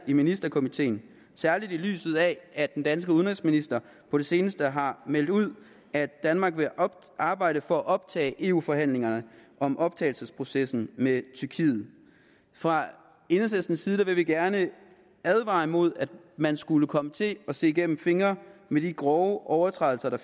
i ministerkomiteen særlig i lyset af at den danske udenrigsminister på det seneste har meldt ud at danmark vil arbejde for at optage eu forhandlingerne om optagelsesprocessen med tyrkiet fra enhedslistens side vil vi gerne advare imod at man skulle komme til at se igennem fingre med de grove overtrædelser af